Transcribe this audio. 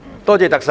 多謝特首。